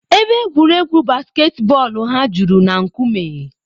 Ebe egwuregwu basketboolu ha juru na nkume.